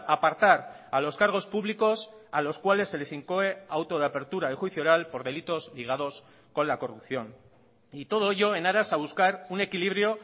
apartar a los cargos públicos a los cuales se les incoe auto de apertura y juicio oral por delitos ligados con la corrupción y todo ello en aras a buscar un equilibrio